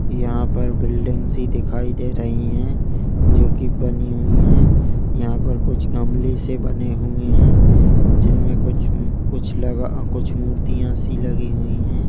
यहाँ पर बिल्डिंग्स ही दिखाई दे रही है जो की बनी हुई है यहाँ पर कुछ गमले से बने हुए हैं जिन में कुछ हम्म कुछ लगा कुछ मूर्तियां सी लगी हुई है।